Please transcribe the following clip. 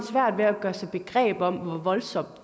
svært ved at gøre sig begreb om hvor voldsomt